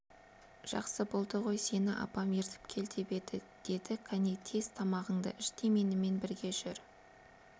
жақсы болды ғой сені апам ертіп кел деп еді деді кәне тез тамағыңды іш те менімен бірге жүр